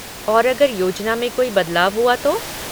और अगर योजना में कोई बदलाव हुआ तो?